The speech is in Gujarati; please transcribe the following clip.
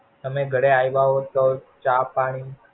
તમે ઘડે આવ્યા હોવ તો ચા પાણી